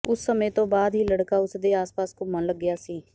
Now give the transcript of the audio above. ਉਸ ਸਮੇਂ ਤੋਂ ਬਾਅਦ ਹੀ ਲੜਕਾ ਉਸ ਦੇ ਆਸਪਾਸ ਘੁੰਮਣ ਲੱਗਿਆ ਸੀ